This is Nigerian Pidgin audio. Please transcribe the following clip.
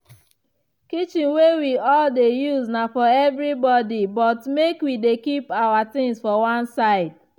kitchen wey we all dey use na for everi body but make wi dey keep awa tings for one side.